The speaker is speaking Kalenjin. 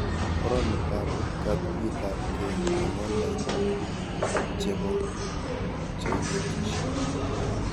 Foromitab katuyeabke eng online chebo cheinetishe